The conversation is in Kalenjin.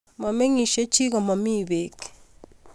Momengishei chii komomii pei